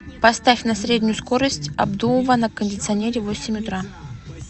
поставь на среднюю скорость обдува на кондиционере в восемь утра